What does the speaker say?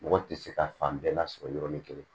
Mɔgɔ tɛ se ka fan bɛɛ lasɔrɔ yɔrɔnin kelen